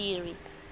badiri